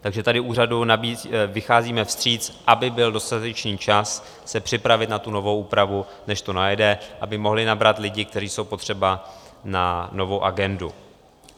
Takže tady úřadu vycházíme vstříc, aby byl dostatečný čas se připravit na tu novou úpravu, než to najede, aby mohli nabrat lidi, kteří jsou potřeba na novou agendu.